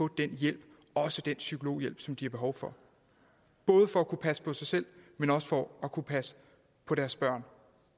den hjælp også den psykologhjælp som de har behov for både for at kunne passe på sig selv men også for at kunne passe på deres børn